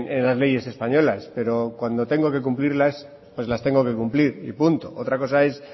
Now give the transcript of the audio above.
en las leyes españolas pero cuando tengo que cumplirlas las tengo que cumplir y punto otra cosa es